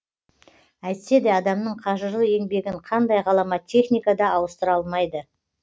әйтсе де адамның қажырлы еңбегін қандай ғаламат техника да ауыстыра алмайды